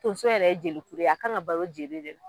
Tonso yɛrɛ ye jelikuru ye, a kan ŋa balo jeli de